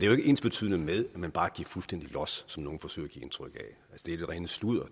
ensbetydende med at man bare giver fuldstændig los som nogle forsøger at give indtryk af det er det rene sludder